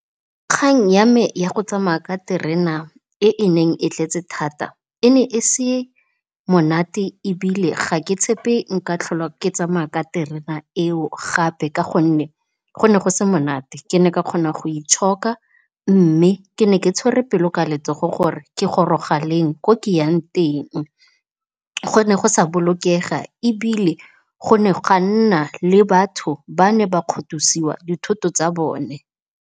Kgang ya me ya go tsamaya ka terena e e neng e tletse thata e ne e se monate ebile ha ke tshepe nka tlhole ke tsamaya ka terena eo gape ka gonne go ne go se monate ke ne ka kgona go itshoka, mme ke ne ke tshwere pelo ka letsogo gore ke goroga leng ko ke yang teng. Go ne go sa bolokega ebile go ne ga nna le batho ba ne ba kgothosiwa dithoto tsa bone.